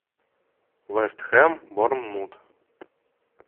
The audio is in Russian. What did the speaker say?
вест хэм борнмут